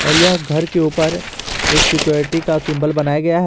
यह घर के ऊपर एक सिक्योरिटी का सिंबल बनाया गया है।